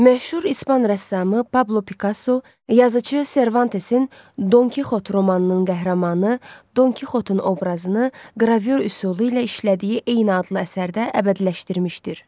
Məşhur ispan rəssamı Pablo Pikasso, yazıcı Servantesin Don Kixot romanının qəhrəmanı Don Kixotun obrazını qravür üsulu ilə işlədiyi eyni adlı əsərdə əbədiləşdirmişdir.